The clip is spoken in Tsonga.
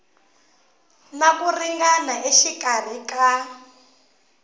na ku ringana exikarhi ka